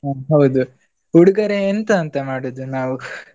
ಹ ಹೌದು, ಉಡುಗೊರೆ ಎಂತ ಅಂತ ಮಾಡುದು ನಾವು?